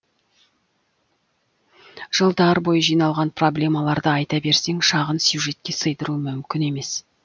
жылдар бойы жиналған проблемаларды айта берсең шағын сюжетке сыйдыру мүмкін емес